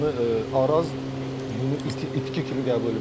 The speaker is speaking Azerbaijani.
Yəni Araz bunu itki kimi qəbul eləmək olar.